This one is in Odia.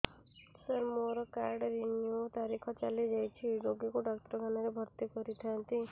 ସାର ମୋର କାର୍ଡ ରିନିଉ ତାରିଖ ଚାଲି ଯାଇଛି ରୋଗୀକୁ ଡାକ୍ତରଖାନା ରେ ଭର୍ତି କରିଥାନ୍ତି